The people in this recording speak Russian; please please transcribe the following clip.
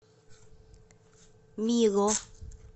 мило